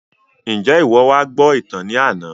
Njẹ iwọ wá gbọ ìtàn ní àna?